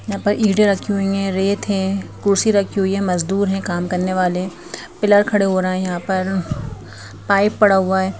यहां पर ईंडे रखी हुई हैं रेत है कुर्सी रखी हुई है मजदूर हैं काम करने वाले पिलर खड़े हो रहे हैं यहां पर पाइप पड़ा हुआ है।